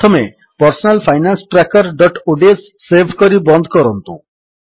ପ୍ରଥମେ personal finance trackerଓଡିଏସ save କରି ବନ୍ଦ କରନ୍ତୁ